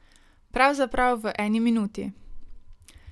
Pravzaprav v eni minuti.